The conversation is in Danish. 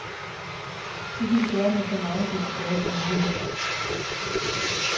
Det kan de gøre med så megen desto bedre samvittighed.